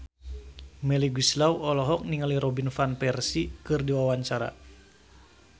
Melly Goeslaw olohok ningali Robin Van Persie keur diwawancara